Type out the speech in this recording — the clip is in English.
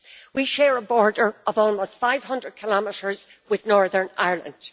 We share a border of almost 500 kilometres with Northern Ireland.